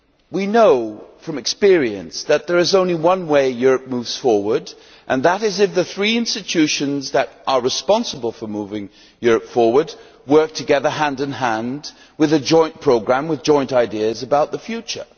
We know from experience that there is only one way Europe moves forward, and that is if the three institutions responsible for moving Europe forward work together, hand in hand, with a joint programme and with joint ideas about the future.